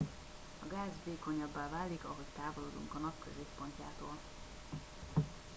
a gáz vékonyabbá válik ahogy távolodunk a nap középpontjától